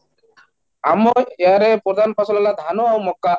ଆମର ଗାଁ ରେ ପ୍ରଧାନ ଫସଲ ହେଲା ଧାନ ଆଉ ମକା